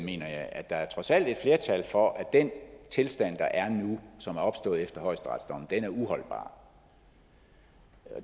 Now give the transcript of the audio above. at der trods alt er et flertal for at den tilstand der er nu og som er opstået efter højesteretsdommen er uholdbar